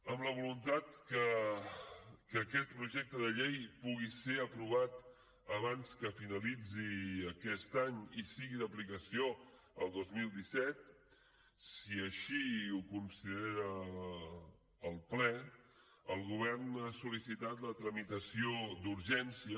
amb la voluntat que aquest projecte de llei pugui ser aprovat abans que finalitzi aquest any i sigui d’aplicació el dos mil disset si així ho considera el ple el govern ha sol·licitat la tramitació d’urgència